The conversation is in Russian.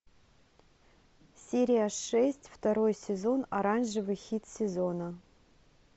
серия шесть второй сезон оранжевый хит сезона